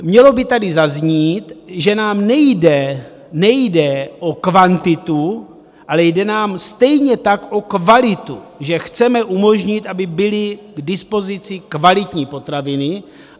Mělo by tady zaznít, že nám nejde o kvantitu, ale jde nám stejně tak o kvalitu, že chceme umožnit, aby byly k dispozici kvalitní potraviny.